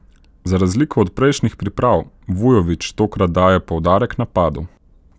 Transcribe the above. Za razliko od prejšnjih priprav Vujović tokrat daje poudarek napadu.